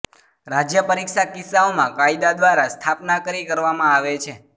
રાજ્ય પરીક્ષા કિસ્સાઓમાં કાયદા દ્વારા સ્થાપના કરી કરવામાં આવે છે